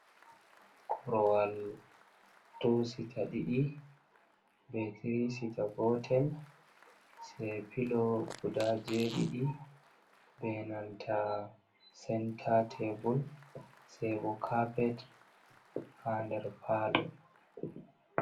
Korowal tusita ɗiɗi be tirisita gotel, sei pilo guda jeɗiɗi, be nanta senta tebul, sai bo cappet ha nder palo.